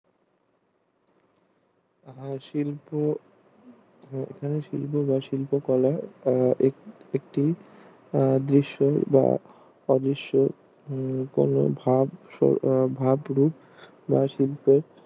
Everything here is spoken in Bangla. শিল্প শিল্প বা শিল্প কলা ও একটি আহ দৃশ্য যা অদৃশ্য ভাব ভাব রূপ বা শিল্প